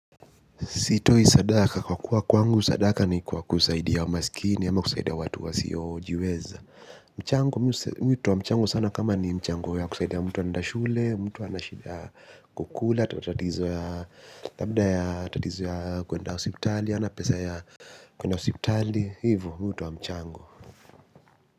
Sitoi sadaka kwa kuwa kwangu sadaka ni kwa kusaidia maskini ama kusaidia watu wasiyojiweza. Mchango, mimi hutoa mchango sana kama ni mchango ya kusaidia mtu anaenda shule, mtu ana shida ya kukula, labda ya tatizo ya kwenda hospitali, hana pesa ya kwenda hospitali, hivo mi hutoa mchango.